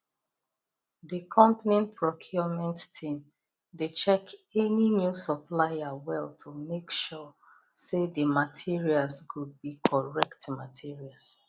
the company procurement team dey check any new supplier well to make sure say the materials go be correct materials